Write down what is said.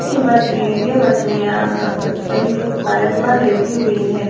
इन मछलीए ये मछलियां कही पलंग पर लेटी हुई है।